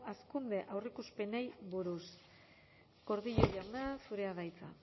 hazkunde aurreikuspenei buruz gordillo jauna zurea da hitza